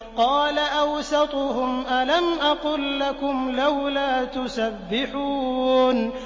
قَالَ أَوْسَطُهُمْ أَلَمْ أَقُل لَّكُمْ لَوْلَا تُسَبِّحُونَ